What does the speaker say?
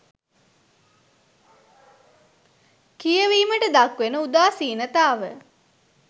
කියවීමට දක්වන උදාසීනතාව.